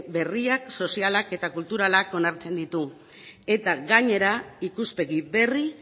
berriak sozialak eta kulturalak onartzen ditu eta gainera ikuspegi berri